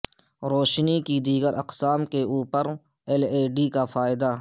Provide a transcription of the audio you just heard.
روشنی کی دیگر اقسام کے اوپر ایل ای ڈی کا فائدہ